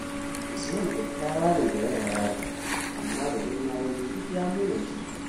Usman kyakyawa ne da yana yaro, amma da girma yazo duk ya munance.